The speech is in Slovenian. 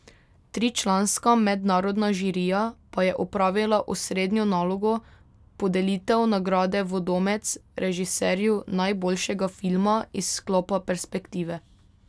Tričlanska mednarodna žirija pa je opravila osrednjo nalogo, podelitev nagrade Vodomec režiserju najboljšega filma iz sklopa Perspektive.